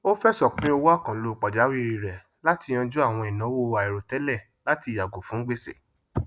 ó fẹsọ pín owó àkànlò pàjáwìrì rẹ láti yanjú àwọn ìnáwó àìròtẹlẹ latí yàgò fún gbèsè